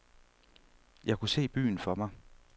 Jeg kunne se byen for mig.